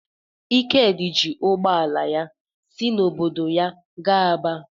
Ikedi ji ụgbọ ala ya si n’obodo ya gaa Aba.